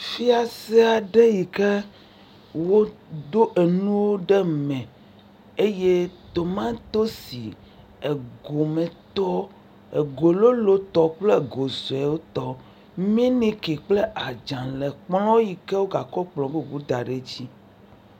Fiase aɖe yi ke woɖo nuwo ɖe eme. Tomatosi gometɔ, go lolotɔ kple go suetɔ, miliki kple adzalẽ le kplɔ̃ yi ke wogakɔ kplɔ̃ bubu da ɖe edzi.